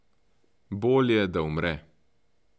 Bolje, da umre.